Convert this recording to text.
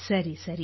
ಸರಿ ಸರಿ